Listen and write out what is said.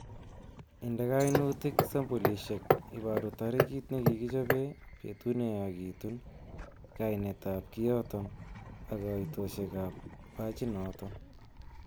Inde kainutik sampolisiek iburu tarikit nekikichobe, betut neyachekitun, kainetab kioton ak koitosiekab bachinoton.